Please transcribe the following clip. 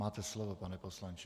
Máte slovo, pane poslanče.